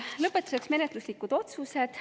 Lõpetuseks menetluslikud otsused.